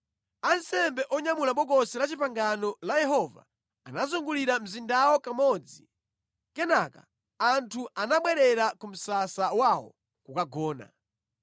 Ansembe onyamula Bokosi la Chipangano la Yehova anazungulira mzindawo kamodzi. Kenaka anthu anabwerera ku msasa wawo kukagona.